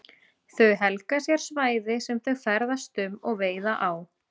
Þau helga sér svæði sem þau ferðast um og veiða á.